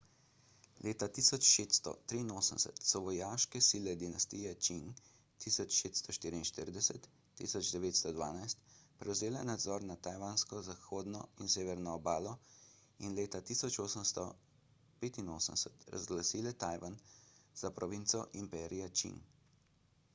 leta 1683 so vojaške sile dinastije čing 1644–1912 prevzele nadzor nad tajvansko zahodno in severno obalo in leta 1885 razglasile tajvan za provinco imperija čing